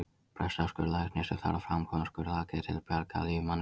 Pressa er skurðlæknir sem þarf að framkvæma skurðaðgerð til að bjarga lífi manneskju.